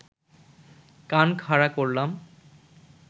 কান খাড়া করলাম